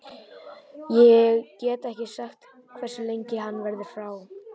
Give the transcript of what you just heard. Ég get ekki sagt hversu lengi hann verður frá.